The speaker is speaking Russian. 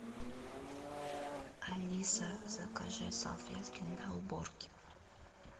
алиса закажи салфетки для уборки